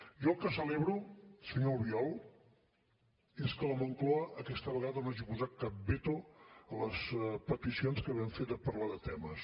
jo el que celebro senyor albiol és que la moncloa aquesta vegada no hagi posat cap veto a les peticions que vam fer de parlar de temes